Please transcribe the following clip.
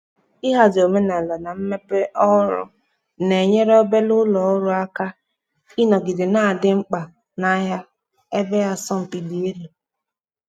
ịhazi omenala na mmepe ohuru na-enyere obere ulọ ọrụ aka ịnogide na-adi mkpa n'ahịa ebe asọmpi di elu.